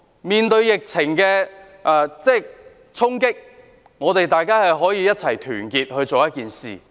面對疫情的衝擊，大家可以團結一致。